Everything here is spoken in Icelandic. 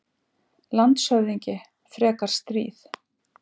LANDSHÖFÐINGI: Frekar stríð?